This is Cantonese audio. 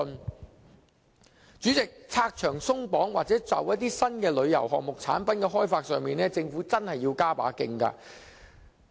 代理主席，拆牆鬆綁或就某些新的旅遊項目產品的開發上，政府真的要加把勁。